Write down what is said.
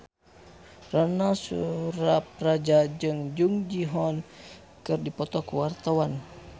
Ronal Surapradja jeung Jung Ji Hoon keur dipoto ku wartawan